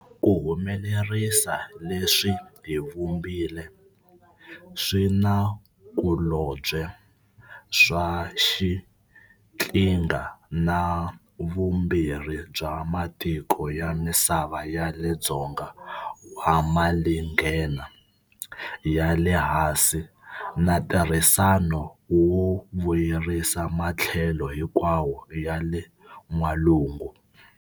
Ku humelerisa leswi hi vumbile swinakulobye swa xiqhinga na vumbirhi bya matiko ya misava ya le Dzonga wa Malinghena ya le Hansi na ntirhisano wo vu yerisa matlhelo hinkwawo ya le N'walungu.